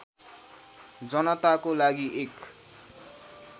जनताको लागि एक